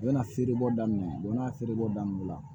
U bɛna feere bɔ daminɛ u bɛna feere bɔ daminɛ o la